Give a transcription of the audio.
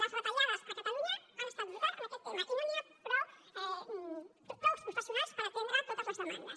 les retallades a catalunya han estat brutals en aquest tema i no hi ha prou professionals per atendre totes les demandes